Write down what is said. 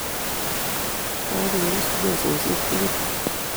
Kageus mesoshek tugul